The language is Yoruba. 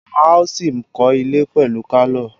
Wọ́n á ṣì kọ́ ilẹ̀ pẹ̀lú pálọ̀